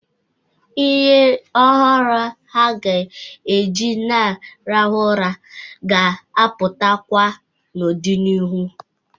Ihe ọhụrụ a ga-eji na-arahụ ụra ga-apụtakwa n'ọdị n'iru.